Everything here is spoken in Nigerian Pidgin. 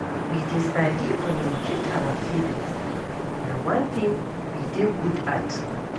We dey sabi communicate our feelings, na one thing we dey good at